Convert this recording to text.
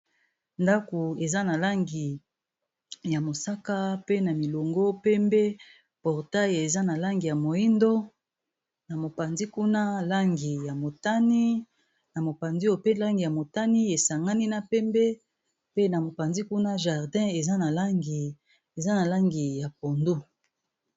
Ndako eza na langi ya mosaka pe na milongo pembe portail eza na langi ya moyindo na mopanzi kuna langi ya motani na mopanzi oyo pe langi ya motani esangani na pembe pe na mopanzi kuna jardin eza na langi ya pondu.